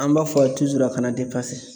An b'a fɔ a kana